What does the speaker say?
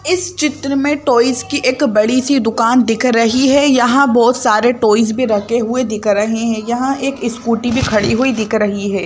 इस चित्र में टॉयज की एक बड़ी सी दुकान दिख रही है यहां बहुत सारे टॉयज भी रखे हुए दिख रहे हैं यहां एक स्कूटी भी खड़ी हुई दिख रही है।